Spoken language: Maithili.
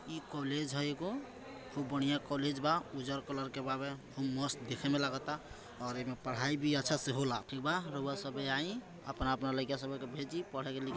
इ कॉलेज हैएगो खूब बढ़िया कॉलेज बा उजर कलर बवे खूब मस्त दिखे मे लागत और एमे पढाई भी अच्छा सा होला ठीक बा रौवा सबबे आई अपना-अपना लायका सन के भेजी पढ़े लिख--